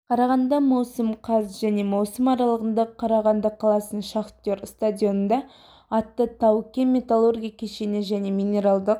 қарағанды маусым қаз және маусым аралығында қарағанды қаласының шахтер стадионында атты тау-кен металлургия кешеніне және минералдық